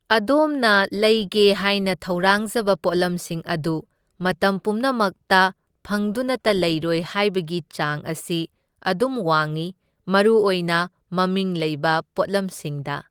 ꯑꯗꯣꯝꯅ ꯂꯩꯒꯦ ꯍꯥꯏꯅ ꯊꯧꯔꯥꯡꯖꯕ ꯄꯣꯠꯂꯝꯁꯤꯡ ꯑꯗꯨ ꯃꯇꯝ ꯄꯨꯝꯅꯃꯛꯇ ꯐꯪꯗꯨꯅꯇ ꯂꯩꯔꯣꯢ ꯍꯥꯢꯕꯒꯤ ꯆꯥꯡ ꯑꯁꯤ ꯑꯗꯨꯝ ꯋꯥꯡꯢ, ꯃꯔꯨꯑꯣꯏꯅ ꯃꯃꯤꯡ ꯂꯩꯕ ꯄꯣꯠꯂꯝꯁꯤꯡꯗ꯫